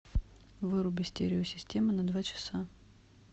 выруби стереосистема на два часа